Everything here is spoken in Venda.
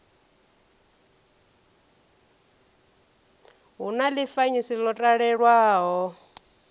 hu na ḽifanyisi ḽo talelwaho